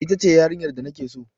Ita ce yarinyar da na ke so.